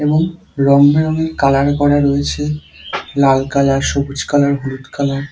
এবং রংবেরঙে কালার করা রয়েছে। লাল কালার সবুজ কালার হলুদ কালার ।